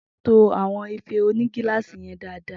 To àwọn Ìfé òní gilasi yẹn dàda.